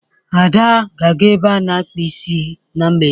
Ada ga-aga ebe a na-akpa isi na mgbede.